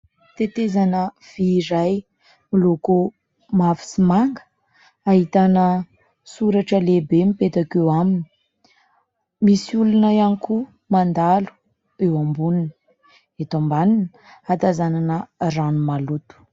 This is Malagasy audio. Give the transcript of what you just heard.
Tetezana vy iray miloko mavo sy manga ahitana soratra lehibe mipetako eo aminy, misy olona ihany koa mandalo eo amboniny, eto ambaniny hatazanana rano maloto.